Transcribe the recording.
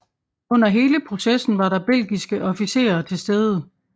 Under hele processen var der belgiske officerer til stede